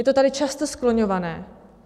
Je to tady často skloňované.